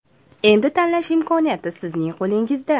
Endi tanlash imkoniyati sizning qo‘lingizda.